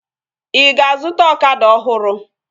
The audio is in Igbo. Ị ga-azụta ọkada ọhụrụ?